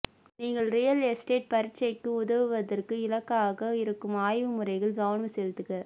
நீங்கள் real estate பரீட்சைக்கு உதவுவதற்கு இலக்காக இருக்கும் ஆய்வு முறைகள் கவனம் செலுத்துக